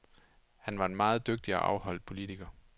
Han var en meget dygtig og afholdt politiker.